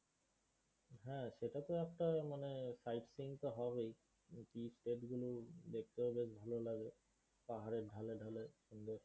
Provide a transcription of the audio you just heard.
হ্যাঁ, সেটা তো একটা মানে sightseeing তো হবেই কারণ কি দেখতেও বেশ ভালো লাগে পাহারের ঢালে ঢালে।